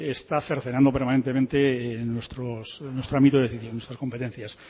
está cercenando permanentemente nuestro ámbito de decisión nuestras competencias